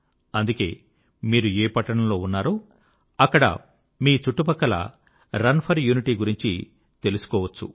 అందుకే మీరు ఏ పట్టణంలో ఉన్నారో అక్కడ మీ చుట్టుపక్కల రన్ ఫర్ యూనిటీ గురించి తెలుసుకోగలరు